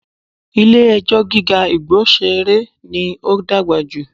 Ilé ẹjọ́ gíga Igbosere ní ó dàgbà jù